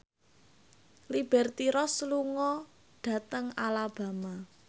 Liberty Ross lunga dhateng Alabama